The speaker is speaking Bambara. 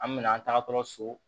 An mɛna an tagatɔ so